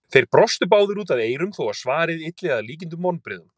Þeir brostu báðir út að eyrum þó að svarið ylli að líkindum vonbrigðum.